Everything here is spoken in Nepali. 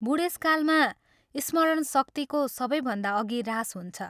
बूढेसकालमा स्मरण शक्तिको सबैभन्दा अघि ह्रास हुन्छ।